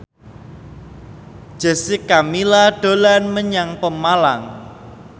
Jessica Milla dolan menyang Pemalang